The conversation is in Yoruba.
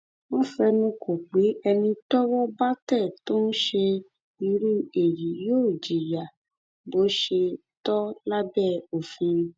wọn fẹnukò pé ẹni tọwọ bá tẹ tó ń ṣe irú èyí yóò jìyà bó ṣe tọ lábẹ òfin